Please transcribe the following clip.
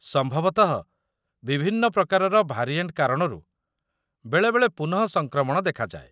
ସମ୍ଭବତଃ ବିଭିନ୍ନ ପ୍ରକାରର ଭାରିଏଣ୍ଟ କାରଣରୁ ବେଳେବେଳେ ପୁନଃ ସଂକ୍ରମଣ ଦେଖାଯାଏ।